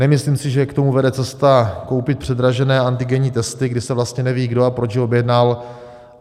Nemyslím si, že k tomu vede cesta koupit předražené antigenní testy, kdy se vlastně neví, kdo a proč je objednal.